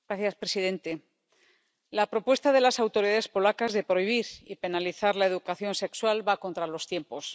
Señor presidente, la propuesta de las autoridades polacas de prohibir y penalizar la educación sexual va contra los tiempos.